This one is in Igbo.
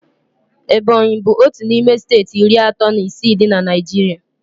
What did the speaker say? Ebọnyi bụ otu n'ime steeti iri atọ na isii dị na Naijiria